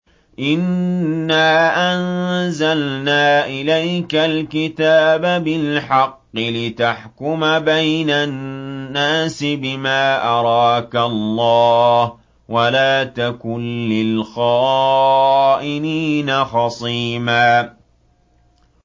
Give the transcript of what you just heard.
إِنَّا أَنزَلْنَا إِلَيْكَ الْكِتَابَ بِالْحَقِّ لِتَحْكُمَ بَيْنَ النَّاسِ بِمَا أَرَاكَ اللَّهُ ۚ وَلَا تَكُن لِّلْخَائِنِينَ خَصِيمًا